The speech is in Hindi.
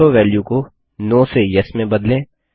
ऑटोवैल्यू को नो से येस में बदलें